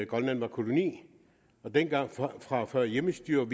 grønland var en koloni og dengang fra før hjemmestyret